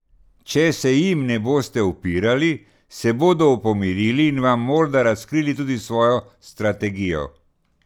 Če se jim ne boste upirali, se bodo pomirili in vam morda razkrili tudi svojo strategijo.